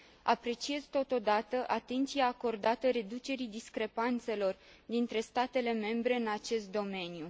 Apreciez totodată atenția acordată reducerii discrepanțelor dintre statele membre în acest domeniu.